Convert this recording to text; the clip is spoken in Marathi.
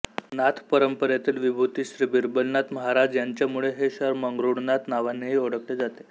नाथपरंपरेतील विभूती श्री बिरबलनाथ महाराज यांच्यामुळे हे शहर मंगरुळनाथ नावानेही ओळखले जाते